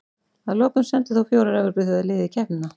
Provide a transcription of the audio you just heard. Að lokum sendu þó fjórar Evrópuþjóðir lið í keppnina.